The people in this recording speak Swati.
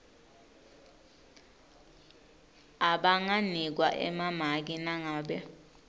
abanganikwa emamaki nangabe